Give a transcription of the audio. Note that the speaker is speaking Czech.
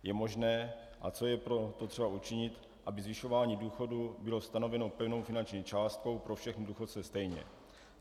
Je možné a co je pro to třeba učinit, aby zvyšování důchodů bylo stanoveno pevnou finanční částkou pro všechny důchodce stejně?